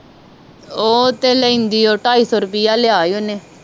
ਉਹ ਤੇ ਲੈਂਦੀ ਉਹ ਟਾਈ ਸੋ ਰੁਪਈਆ ਲਿਆ ਸੀ ਓਹਨੇ